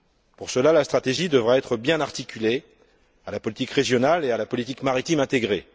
Pour cela, la stratégie devra être bien articulée à la politique régionale et à la politique maritime intégrée.